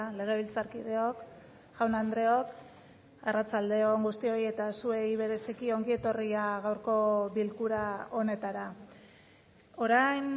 legebiltzarkideok jaun andreok arratsalde on guztioi eta zuei bereziki ongi etorria gaurko bilkura honetara orain